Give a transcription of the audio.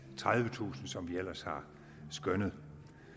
tredivetusind kr som vi ellers har skønnet